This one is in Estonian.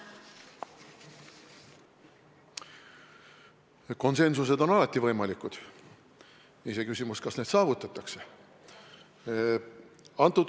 Konsensus on alati võimalik, iseküsimus, kas see saavutatakse.